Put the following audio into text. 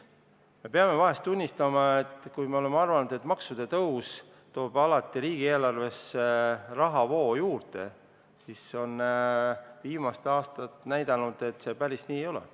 Me peame tunnistama, et kui me oleme ikka arvanud, et maksude tõus toob alati riigieelarvesse rahavoo juurde, siis viimased aastad on näidanud, et see päris nii ei ole.